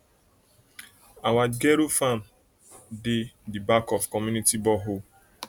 our gero farm dey di back of community borehole